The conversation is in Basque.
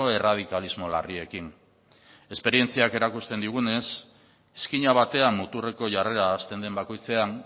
erradikalismo larriekin esperientziak erakusten digunez izkina batean muturreko jarrera hasten den bakoitzean